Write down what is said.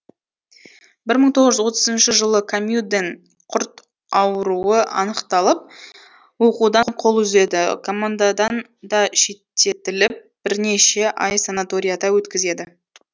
бір мың тоғыз жүз отызыншы жылы камюден құрт ауруы анықталып оқудан қол үзеді командадан да шеттетіліп бірнеше ай санаторияда өткізеді